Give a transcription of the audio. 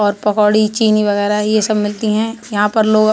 और पकौड़ी चीनी वगैरह यह सब मिलती है यहां पर लोग--